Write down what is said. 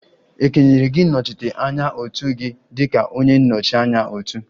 E kenyere gị ịnọchite anya otu gị dị ka onye nnọchi anya otu?